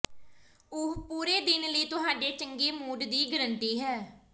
ਉਹ ਪੂਰੇ ਦਿਨ ਲਈ ਤੁਹਾਡੇ ਚੰਗੇ ਮੂਡ ਦੀ ਗਾਰੰਟੀ ਹੈ